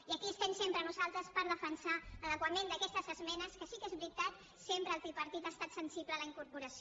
i aquí estem sempre nosaltres per defensar l’adequació d’aquestes esmenes que sí que és veritat sempre el tripartit ha estat sensible a la incorporació